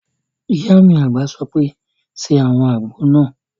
Ìyá mi àgbà sọ pé "ṣe àwọn àgbo náà!"